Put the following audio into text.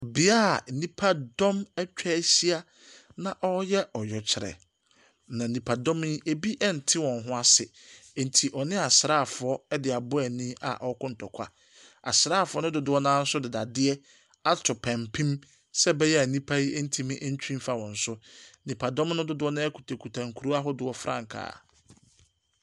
Bea a nnipa dɔm atwa ahyia na wɔreyɛ ɔyɛkyerɛ, na nnipa dɔm yi, ebi nte wɔn ho ase, nti wɔne asraafoɔ de abɔ ani a wɔreko ntɔkwa. Asraafoɔ no dodoɔ no ara nso de dadeɛ ato pampim sɛ ɛbɛyɛ a nnipa no ntumi ntwi mfa wɔn so. Nnipadɔm no dodoɔ no ara kutakuta nkuro ahodoɔ frankaa.